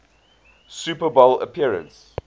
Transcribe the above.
super bowl appearance